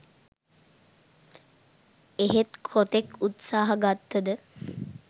එහෙත් කොතෙක් උත්සාහ ගත්ත ද